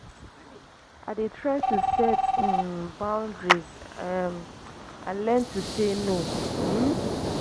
i dey try to set um boundaries um and learn to say no. um